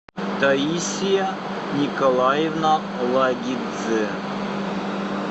таисия николаевна лагидзе